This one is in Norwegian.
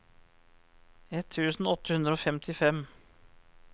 ett tusen åtte hundre og femtifem